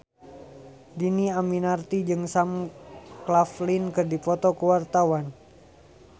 Dhini Aminarti jeung Sam Claflin keur dipoto ku wartawan